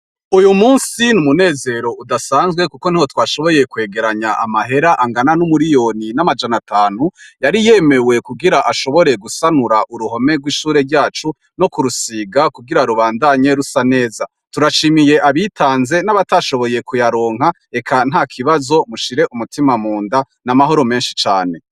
Uyu musi n'umunezero udasanzwe kuko niho twashoboye kwegeranya amahera angana n'umuriyoni n'amajana atanu yari yemewe kugira ashobore gusanura uruhome rw'ishure ryacu no kurusiga kugira rubandanye rusa neza, turashimiye abitanze n'abatashoboye kuyaronka eka ntakibazo mushire umutima mu nda n'amahoro menshi cane.